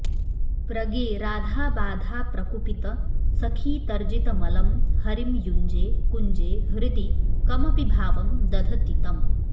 प्रगे राधाबाधाप्रकुपितसखीतर्जितमलं हरिं युञ्जे कुञ्जे हृदि कमपि भावं दधति तम्